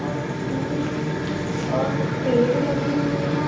और दूर पेड़ लगे हुए हैं।